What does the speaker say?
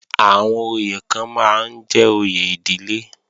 Àwọn oyè kan máa ń jẹ́ òye ìdílé